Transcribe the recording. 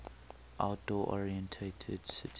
outdoor oriented city